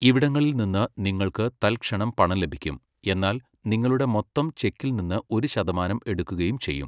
ഇവിടങ്ങളിൽ നിന്ന് നിങ്ങൾക്ക് തൽക്ഷണം പണം ലഭിക്കും, എന്നാൽ നിങ്ങളുടെ മൊത്തം ചെക്കിൽ നിന്ന് ഒരു ശതമാനം എടുക്കുകയും ചെയ്യും.